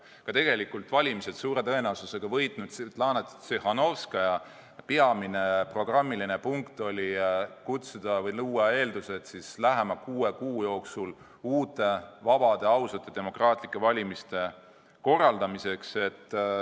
Ja tegelikult valimised suure tõenäosusega võitnud Svetlana Tsihhanovskaja peamine programmiline eesmärk oli luua eeldused korraldada lähema kuue kuu jooksul uued, vabad, ausad, demokraatlikud valimised.